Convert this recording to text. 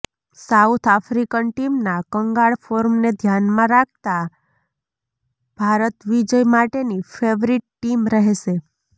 south African ટીમના કંગાળ ફોર્મને ધ્યાનમાં રાખતા ભારત વિજય માટેની ફેવરિટ ટીમ રહેશે